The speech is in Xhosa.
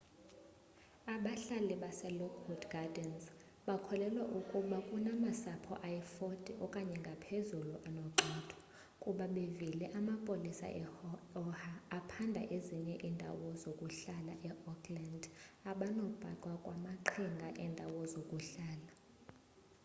abahlali baselockwood gardens bakholelwa ukuba bekunamasapho ayi-40 okanye angaphakoko anogxothwa ukuba bevile amapolisa e-oha aphanda ezinye iindawo zokuhlala e-oakland abanobhaqwa kwamaqhinga endawo zokuhlala